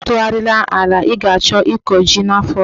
Atụgharịla ala ị ga-achọ ịkọ ji n'afọ ọzọ!